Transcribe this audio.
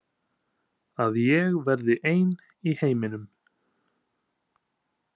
Að ég verði ein í heiminum.